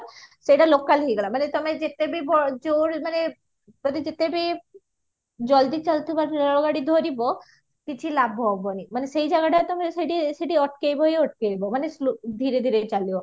ସେଇଟା local ହେଇଗଲା ମାନେ ତମେ ଯେତେ ବି ଯୋଉ ବି ମାନେ ଯଦି ଯେତେ ବି ଜଲଦି ଚାଲୁଥିବା ରେଳ ଗାଡି ଧରିବା କିଛି ଲାଭ ହବନି ମାନେ ସେଇ ଜାଗଟା ତମେ ସେଇଠି ସେଇଠି ଅଟକେଇବା ହି ଅଟକେଇବା ମାନେ slow ଧୀରେ ଧୀରେ ଚାଲିବ